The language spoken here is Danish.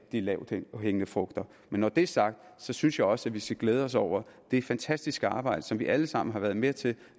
de lavthængende frugter men når det er sagt synes jeg også at vi skal glæde os over det fantastiske arbejde som vi alle sammen har været med til